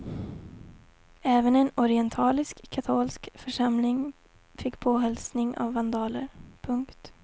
Även en orientalisk katolsk församling fick påhälsning av vandaler. punkt